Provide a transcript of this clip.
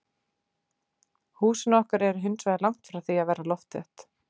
Húsin okkar eru hinsvegar langt frá því að vera loftþétt.